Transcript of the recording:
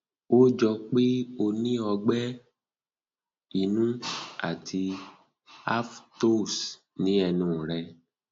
ó jọ ó jọ pé o um ní ọgbẹ um inú ti aphthous ni ẹnu rẹ